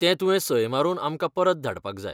तें तुवें सय मारून आमकां परत धाडपाक जाय.